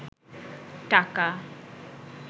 টাকা